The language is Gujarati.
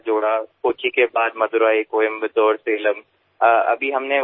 કોચી પછી મદુરાઈ કોઇમ્બતુર સાલેમ હમણાં અમે ઉડુપીમાં કર્યું